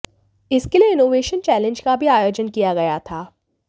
इसके लिए innovation challenge का भी आयोजन किया गया था